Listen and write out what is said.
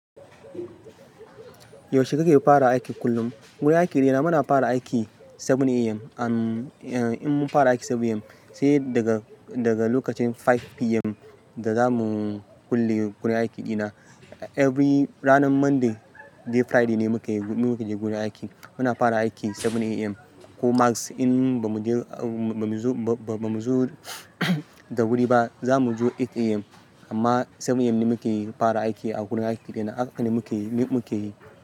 Yaushe kake fara aiki kullum? Gurin aiki ɗina muna fara aiki 7:00 AM. An, eh in mun fara aiki 7:00 AM sai daga, daga lokacin 5:00 PM da zamu kulle gurin aiki ɗina. Every ranar Monday day Friday ne muke, muke je gurin aiki. Muna fara aiki 7:00 AM ko max in bamu je, ba, ba mu zo, ba, ba mu zo da wuri ba za mu zo 8:00 AM. Amma 7:00 AM ne muke fara aiki a gurin aiki ɗina haka ne muke yi, ni muke yi.